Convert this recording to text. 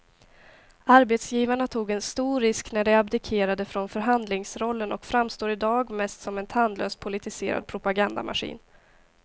Arbetsgivarna tog en stor risk när de abdikerade från förhandlingsrollen och framstår i dag mest som en tandlös politiserad propagandamaskin.